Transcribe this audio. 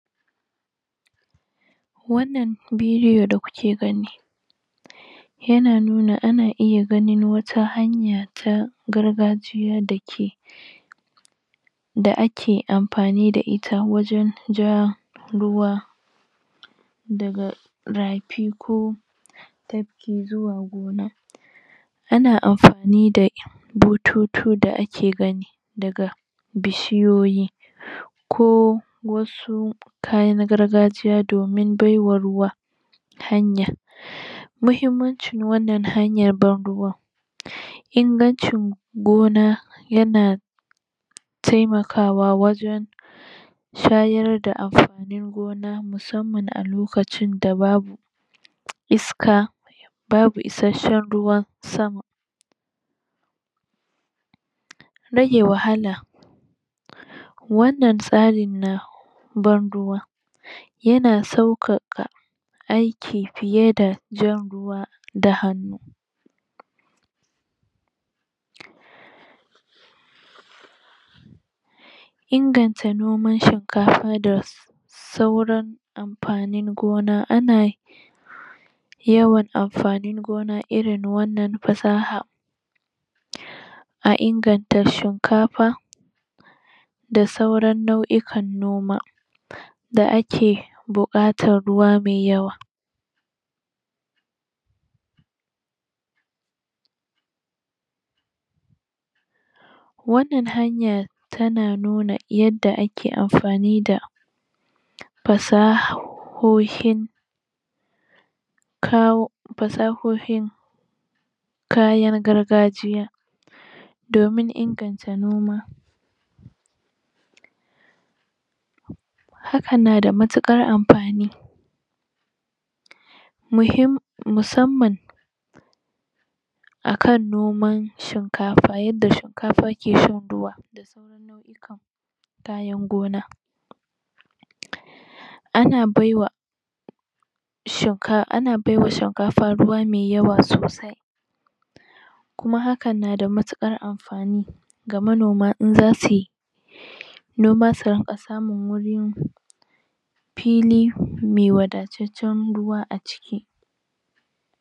wannan bidiyo da kuke gani yana nuna ana iya ganin wata hanya ta gargajiya da ke da ake amfani da ita wajen ja ruwa daga rafi ko tafki zuwa gona ana amfani da bututu da ake gani daga bishiyoyi ko wasi kayan gargajiya domin bai wa ruwa hanya muhimmancin wannan hanyar ban ruwan ingancin gona yana taimakawa wajen shayar da amfanin gona musamman a lokacin da babu iska babu isasshen ruwan sama rage wahala wannan tsarin na ban ruwa yana sauƙaƙa aiki fiye da jan ruwa da hannu inganta noman shinkafa da sauran amfanin gona ana yawan amfanin gona irin wannan fasahar a inganta shinkafa da sauran nau'ikan noma da ake buƙatar ruwa mai yawa wannan hanya tana nuna yadda ake amfani da fasahohin kawo fasahohin kayan gargajiya domin inganta noma hakan na da matuƙar amfani musamman akan noman shinkafa yadda shinkafa ke shan ruwa kayan gona ana bai wa shinkafa ana bai wa shinkafa ruwa mai yawa sosai kuma hakan na da matuƙar amfani ga manoma in za suyi noma su rinƙa samun wuri fili mai wadataccen ruwa a ciki